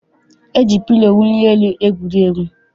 E ji pilo mwuli elu egwuri egwu.